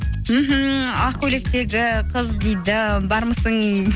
мхм ақ көйлектегі қыз дейді бармысың